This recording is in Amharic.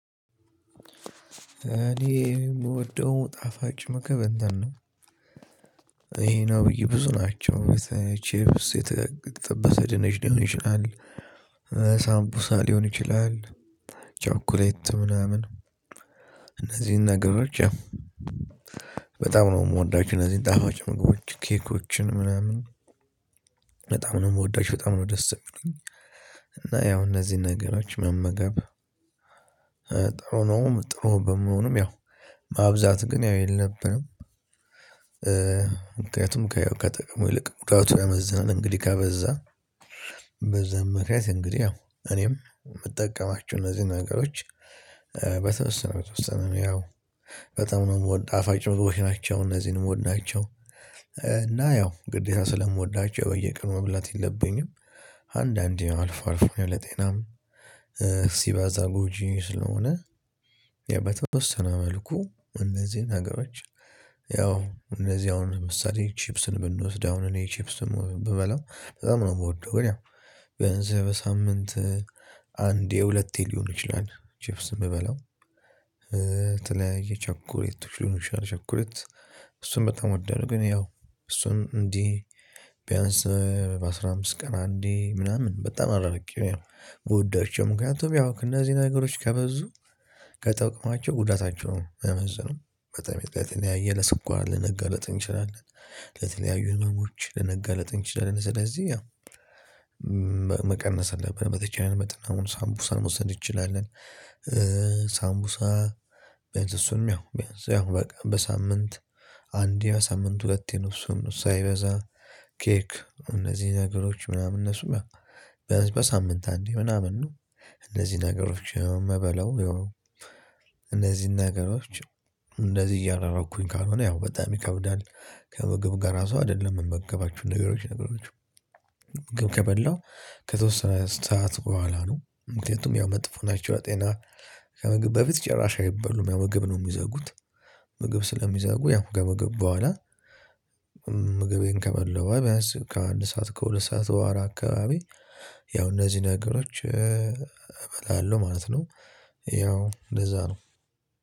እኔ የምወደው ጣፋጭ ምግብ እንትን ነው። ይሄ ነው ብዬ ብዙ ናቸው። ቼፕስ የተጠበሰ ድንች ሊሆን ይችላል ሳምቡሳ ሊሆን ይችላል፤ ቻኮሌት ምናምን እነዚህን ነገሮች ያው በጣም ነው የምወዳችሁ እነዚህን ጣፋጭ ምግቦች ኬኮችን ምናምን በጣም ነው የምወዳቸው በጣም ነው ደስ የሚሉኝ እና ያው እነዚህን ነገሮች መመገብ ጥሩ ነውም ጥሩ በመሆኑም ያው ማብዛት ግን ያው የለብልም ምክንያቱም ከጥቅሙ ይልቅ ጉዳቱ ያመዘነን እንግዲህ ከበዛ በዛም ምክንያት እንግዲህ ያው እኔም የምጠቀማቸው እነዚህን ነገሮች በተወሰነ በተወሰነ እኔ ያው በጣም ነው የምወድ ጣፍጭ ግብቦች ናቸው እነዚህን የምወዳቸው እና ያው ግዴታ ስለምወዳቸው በየቀኑ መብላት የለብኝም አንዳንዴ አልፎ አልፎ ያው ለጤናም ሲበዛ ጎጂ ስለሆነ ያው በተወሰነ መልኩ እነዚህን ነገሮች ያው እነዚህ አሁን ለምሳሌ ቺፕስን ብንወስድ አሁን እኔ ቺፕስን ብበላው በጣም ነው የምወደው ግን ያው ቢያንስ በሳምንት አንዴ ሁለቴ ሊሆን ይችላል ቺፕስ የምበላው የተለያየ ቸኮሌቶች ሊሆን ይችላል ቸኮሌት እሱን በጣም ወዳለሁ ግን ያው እሱን እንዲህ ቢያንስ በአሥራ አምስት ቀን አንዴ ምናምን በጣም አራርቄ ጎዳቸው ምክንያቱም ያው እነዚህ ነገሮች ከበዙ ከጥቅማቸው ጉዳታቸው ሚያመዝነው በጣም የተለያየ ለስኳር ልንጋለጥ እንችላለን ለተለያዩ ህመሞች ልንጋለጥ እንችላለን ስለዚህ ያው መቀነስ አለብን በተቻለ መጠን አሁን ሳምቡሳ መውሰድ እንችላለን ሳምቡሳ ቢያንስ እሱንም ያው ያው በቃ በሳምንት አንዴ በሳምንት ሁለቴ ነው እሱንም ሳይበዛ ኬክ እነዚህ ነገሮች ምናምን እነሱም ያው ቢያንስ በሳምንት አንዴ ምናምን ነው እነዚህ ነገሮች የምበላው ያው እነዚህን ነገሮች እንደዚህ እያራራኩኝ ካልሆነ ያው በጣም ይከብዳል ከምግብ ጋር ራሱ አይደለም የምመገባቸው ነገሮች ነገሮች ከበላው ከተወሰነ ሰዓት በኋላ ነው ምክንያቱም ያው መጥፎ ናቸው ጤና ከምግብ በፊት ጭራሽ አይበሉም ያው ምግብ ነው የሚዘጉት ምግብ ስለሚዘጉ ያው ከምግብ በኋላ ምግቤን ከበላው በሗላ ቢያንስ ከአንድ ሰዓት ከሁለት ሰዓት በሗላ አካባቢ ያው እነዚህ ነገሮች እበላለሁ ማለት ነው ያው እንደዛ ነው